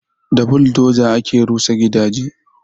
Da buldoza ake rusa gidaje